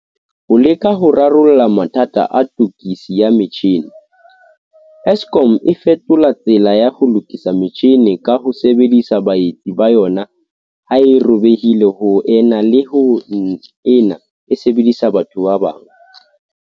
Ho leka ho rarolla mathata a tokiso ya metjhini, Eskom e fetola tsela ya ho lokisa metjhini ka ho sebedisa baetsi ba yona ha e robehile ho ena le ho nna e sebedisa batho ba bang.